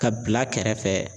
Ka bila kɛrɛfɛ.